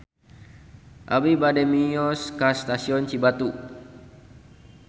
Abi bade mios ka Stasiun Cibatu